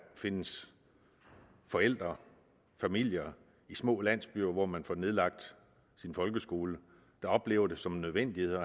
findes forældre familier i små landsbyer hvor man får nedlagt sin folkeskole der oplever det som en nødvendighed at